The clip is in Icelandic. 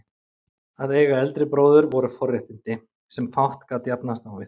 Að eiga eldri bróður voru forréttindi, sem fátt gat jafnast á við.